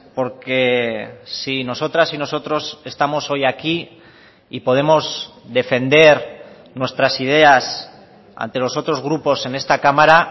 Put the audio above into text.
porque si nosotras y nosotros estamos hoy aquí y podemos defender nuestras ideas ante los otros grupos en esta cámara